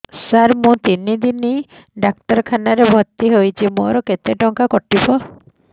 ସାର ମୁ ତିନି ଦିନ ଡାକ୍ତରଖାନା ରେ ଭର୍ତି ହେଇଛି ମୋର କେତେ ଟଙ୍କା କଟିବ